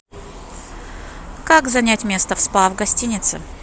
как занять место в спа в гостинице